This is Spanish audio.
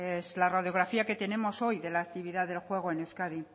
es la radiografía que tenemos hoy de la actividad el juego en euskadi